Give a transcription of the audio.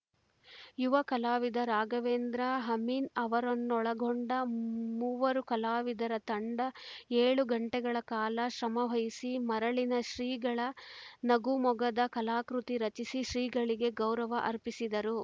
ಯುವ ಕಲಾವಿದ ರಾಘವೇಂದ್ರ ಹಮಿನ್‌ ಅವರನ್ನೊಳಗೊಂಡ ಮೂವರು ಕಲಾವಿದರ ತಂಡ ಏಳು ಗಂಟೆಗಳ ಕಾಲ ಶ್ರಮವಹಿಸಿ ಮರಳಿನಲ್ಲಿ ಶ್ರೀಗಳ ನಗುಮೊಗದ ಕಲಾಕೃತಿ ರಚಿಸಿ ಶ್ರೀಗಳಿಗೆ ಗೌರವ ಅರ್ಪಿಸಿದರು